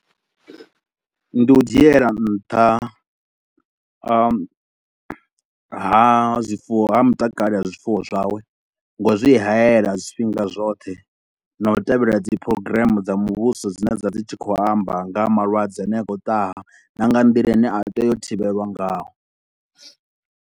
Ndi u dzhiela nṱha ha, ha zwifuwo ha mutakalo wa zwifuwo zwawe nga u zwi hayela zwifhinga zwoṱhe na u tevhelela dzi program dza muvhuso dzine dza dzi tshi khou amba nga ha malwadze ane a khou ṱaha na nga nḓila ine a tea u thivhelwa ngaho.